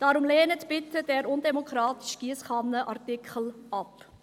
Deshalb lehnen Sie bitte diesen undemokratischen Giesskannenartikel ab.